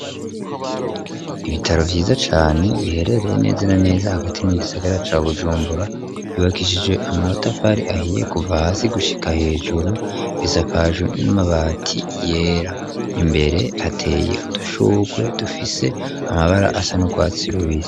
Ibitaro vyiza cane, biherereye neza na neza, hagati mu gisagara, ca Bujumbura; vyubakishije amatafari ahiye, kuva hasi, gushika hejuru; bisakaje n'amabati yera; imbere, hateye udushurwe, dufise amabara, asa n'urwatsi rubisi.